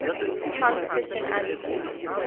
hans christian andersen